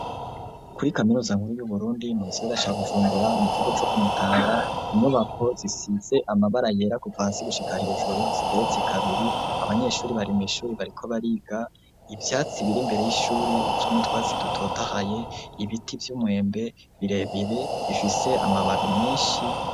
Kuri kaminuza nkuru yu Burundi mu Gisagara ca Bujumbura mu kigo tso kumutanga, inyubako zisitse amabara yera kuvasigushika hejuru zigeretse kabiri abanyeshuri bari mu ishuri bariko bariga ibyatsi biri mbere y'ishuri bigizwe no twatsi dutotahaye, ibiti vy'umwembe birebire bifise amababi menshi.